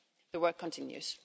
The work continues.